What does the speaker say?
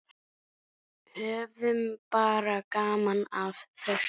Höfum bara gaman af þessu.